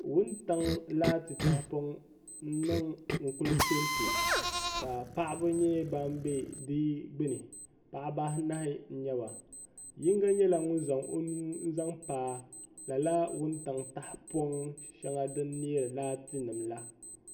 wuntaŋa laatinima tahapɔŋnima n-kuli pɛmpe ka paɣiba nyɛ ban be di gbuni paɣiba anahi n-nyɛ ba yiŋga nyɛla ŋun zaŋ o nuu n-zaŋ pa lala wuntaŋ tahapɔŋ shɛŋa din neeri laatinima la